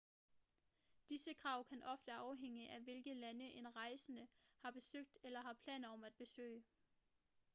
disse krav kan ofte afhænge af hvilke lande en rejsende har besøgt eller har planer om at besøge